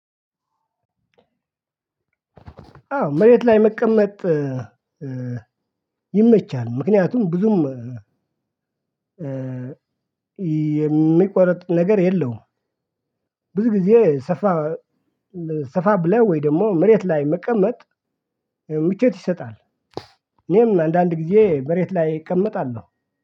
አዎ መሬት ላይ መቀመጥ ይመቻል። ምክንያቱም ብዙም የሚቆረጥ ነገር የለውም። ብዙ ጊዜ ሰፋ ሰፋ ብለህ ወይ ደግሞ መሬት ላይ መቀመጥ ምቾት ይሰጣል። እኔም አንዳንድ ጊዜ መሬት ላይ እቀመጣለሁ